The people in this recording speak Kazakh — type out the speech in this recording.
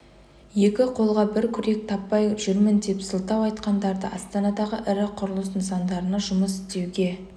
екі қолға бір күрек таппай жүрмін деп сылтау айтқандарды астанадағы ірі құрылыс нысандарында жұмыс істеуге